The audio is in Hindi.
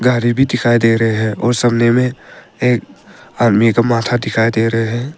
गाड़ी भी दिखाई दे रहे हैं और सामने में एक आदमी का माथा दिखाई दे रहे हैं।